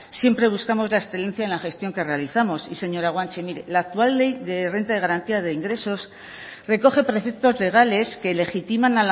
siempre buscamos la excelencia en la gestión que realizamos y señora guanche mire la actual ley de renta de garantía de ingresos recoge preceptos legales que legitiman